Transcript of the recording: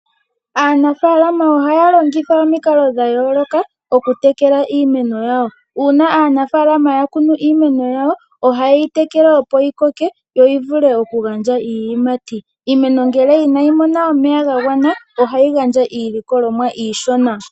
Aanafaalama ohaa longitha omikalo dha yooloka okutekela iimeno yawo. Uuna ya kunu iimeno yawo oha ye yitekele opo yi koke yo yi vule okugandja iiyimati. Iimeno ngele inayi mona omeya ga gwana ohayi gandja iilikolomwa iishona.